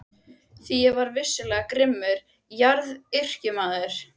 Því ég var vissulega grimmur garðyrkjumaður.